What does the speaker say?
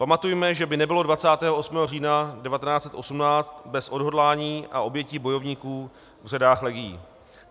Pamatujme, že by nebylo 28. října 1918 bez odhodlání a obětí bojovníků v řadách legií.